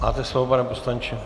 Máte slovo, pane poslanče.